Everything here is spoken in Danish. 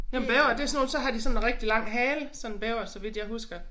Jamen bævere det sådan nogle så har de sådan rigtig lang hale sådan bæver så vidt jeg husker